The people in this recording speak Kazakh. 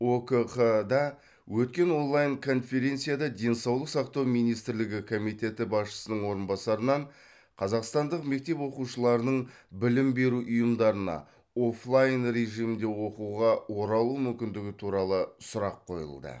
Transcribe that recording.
окқ да өткен онлайн конференцияда денсаулық сақтау министрлігі комитеті басшысының орынбасарынан қазақстандық мектеп оқушыларының білім беру ұйымдарына оффлайн режимінде оқуға оралу мүмкіндігі туралы сұрақ қойылды